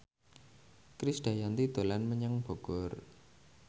Krisdayanti dolan menyang Bogor